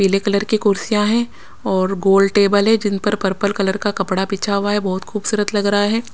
पीले कलर की कुर्सियां हैं और गोल्ड टेबल है जिन पर पर्पल कलर का कपड़ा पिछा हुआ है बहुत खूबसूरत लग रहा है।